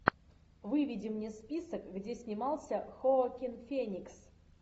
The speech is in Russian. выведи мне список где снимался хоакин феникс